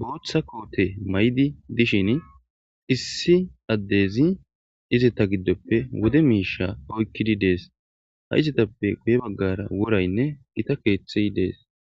boththa kotte mayiddi dishshin issi addezi izeta giddoppe wode mishsha oykidi dess ha izetappe guye bagara worayinne gita keththey de'ess.